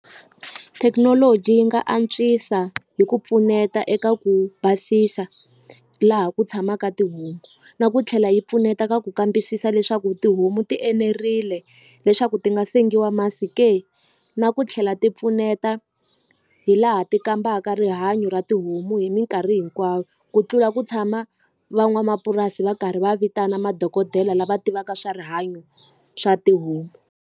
Thekinoloji yi nga antswisa hi ku pfuneta eka ku basisa laha ku tshamaka tihomu na ku tlhela yi pfuneta ka ku kambisisa leswaku tihomu ti enerile leswaku ti nga sengiwa masi ke na ku tlhela ti pfuneta hi laha ti kambaka rihanyo ra tihomu hi minkarhi hinkwayo ku tlula ku tshama van'wamapurasi va karhi va vitana madokodela lava tivaka swa rihanyo swa tihomu.